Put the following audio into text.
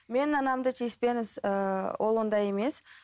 мен анамды тиіспеңіз ыыы ол ондай емес